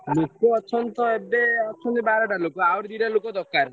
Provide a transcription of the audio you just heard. ଲୋକ ଅଛନ୍ତି ତ ଏବେ ଅଛନ୍ତି ବାରଟା ଲେଖାଁ ଆହୁରି ଦିଟା ଲୋକ ଦରକାର।